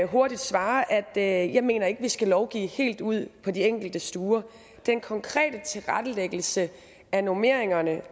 hurtigt svare at jeg ikke mener at vi skal lovgive helt ude på de enkelte stuer den konkrete tilrettelæggelse af normeringerne